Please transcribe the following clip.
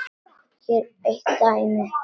Hér er eitt dæmi.